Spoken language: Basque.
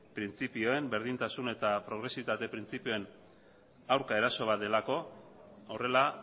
printzipioen berdintasun eta progresibitate printzipioen aurka eraso bat delako horrela